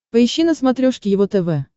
поищи на смотрешке его тв